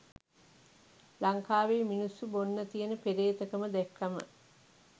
ලංකාවේ මිනිස්සු බොන්න තියෙන පෙරේතකම දැක්කම